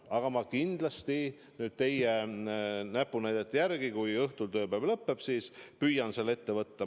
Aga ma kindlasti teie näpunäidete järgi, kui õhtul tööpäev lõpeb, püüan selle ette võtta.